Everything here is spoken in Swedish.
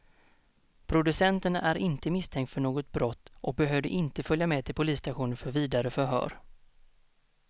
Producenten är inte misstänkt för något brott och behövde inte följa med till polisstationen för vidare förhör.